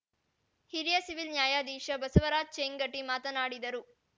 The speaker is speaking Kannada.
ಹಿರಿಯ ಸಿವಿಲ್‌ ನ್ಯಾಯಾಧೀಶ ಬಸವರಾಜ್‌ ಚೇಂಗಟಿ ಮಾತನಾಡಿದರು